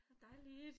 Dejligt